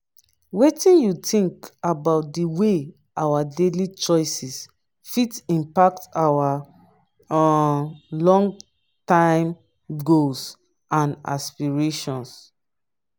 wetin you think about di way our daily choices fit impact our um long-term goals and aspirations?